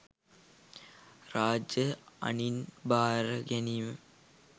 රාජ අණින් බාර ගැනීම